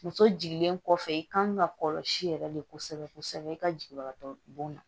Muso jiginlen kɔfɛ i kan ka kɔlɔsi yɛrɛ de kosɛbɛ kosɛbɛ i ka jigibatɔ bon na